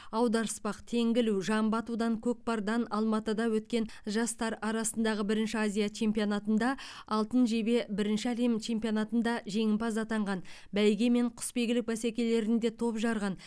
аударыспақ теңге ілу жамбы атудан көкпардан алматыда өткен жастар арасындағы бірінші азия чемпионатында алтын жебе бірінші әлем чемпионатында жеңімпаз атанған бәйге мен құсбегілік бәсекелерінде топ жарған